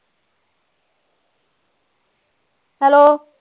Hello